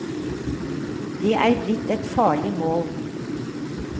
Det er blitt et farlig mål.